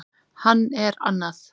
Hann er annað